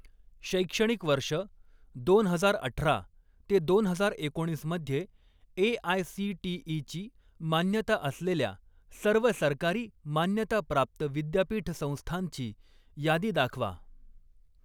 शैक्षणिक वर्ष दोन हजार अठरा ते दोन हजार एकोणीस मध्ये ए.आय.सी.टी.ई.ची मान्यता असलेल्या सर्व सरकारी मान्यता प्राप्त विद्यापीठ संस्थांची यादी दाखवा.